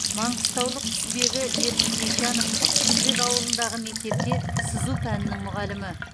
маңғыстаулық құсбегі ертіс есжанов тұщыбек ауылындағы мектепте сызу пәнінің мұғалімі